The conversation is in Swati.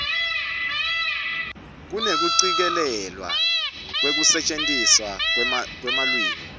kunekucikelelwa kwekusetjentiswa kwelulwimi